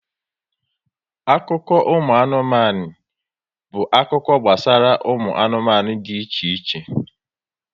Akụkọ anụmanụ bụ akụkọ gbasara ụmụ anụmanụ dị iche iche